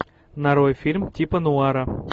нарой фильм типа нуара